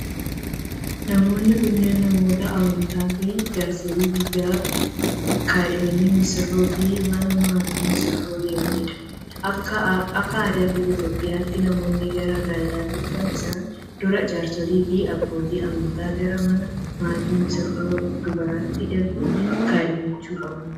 Namoonni kunneen, namoota amantaa fi jaarsolii biyyaa kaadhima misirroof mana maatii misirroo deemanii dha. Akka aadaa biyya Itoophiyaatti namoonni gara gaa'ilaatti dhufuu isaaniin dura, jaarsolii fi abbootii amantaa gara mana maatii misirroo dubaraatti erguun kaadhimachuu qabu.